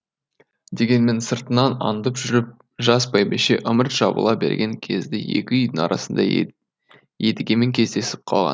денеммен сыртынан аңдып жүріп жас бәйбіше ымырт жабыла берген кезде екі үйдің арасында едігемен кездесіп қалған